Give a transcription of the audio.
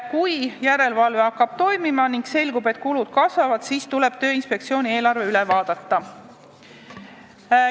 Kui järelevalve hakkab toimima ning selgub, et kulud kasvavad, siis tuleb Tööinspektsiooni eelarve üle vaadata.